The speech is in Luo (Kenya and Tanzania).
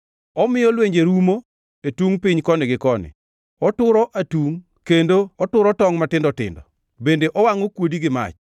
Omiyo lwenje rumo e tungʼ piny koni gi koni; oturo atungʼ kendo ochodo tongʼ matindo tindo, bende owangʼo kuodi gi mach.